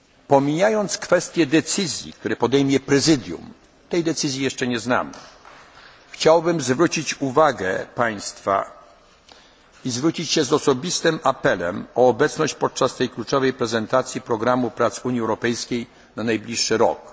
na sali. Pomijając kwestię decyzji, którą podejmie Prezydium, decyzji, której jeszcze nie znamy, chciałbym zwrócić się do państwa z osobistym apelem o obecność podczas tej kluczowej prezentacji programu prac Unii Europejskiej na